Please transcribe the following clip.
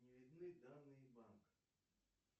не видны данные банка